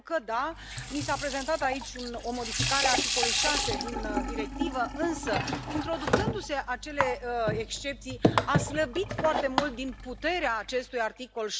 Pentru că, da, mi s a prezentat aici o modificare a articolului 6 din directivă, însă, introducându se acele excepții, a slăbit foarte mult din puterea acestui articol